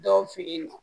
Dɔw fe yen nɔ